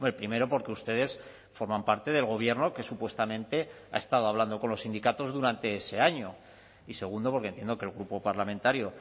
primero porque ustedes forman parte del gobierno que supuestamente ha estado hablando con los sindicatos durante ese año y segundo porque entiendo que el grupo parlamentario